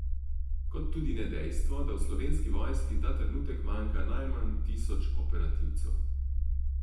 Kot tudi ne dejstvo, da v Slovenski vojski ta trenutek manjka najmanj tisoč operativcev.